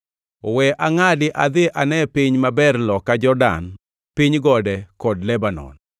We angʼadi adhi ane piny maber loka Jordan piny gode kod Lebanon.”